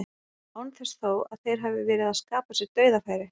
Án þess þó að þeir hafi verið að skapa sér dauðafæri.